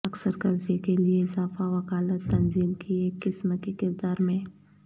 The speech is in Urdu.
اکثر قرضے کیلئے اضافہ وکالت تنظیم کی ایک قسم کے کردار میں